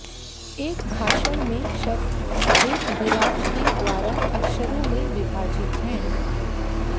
एक भाषण में शब्द एक विराम के द्वारा अक्षरों में विभाजित है